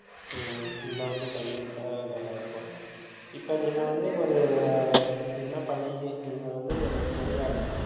ஹம் இன்னும் வந்து பங்கேற்றா நல்லா இருக்கும். இப்ப நீங்க வந்து ஒரு என்ன பணி நீங்க வந்து ஒரு பொறியாளர்,